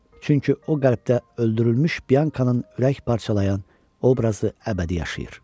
Çünki o qəlbdə öldürülmüş Biankanın ürək parçalayan obrazı əbədi yaşayır.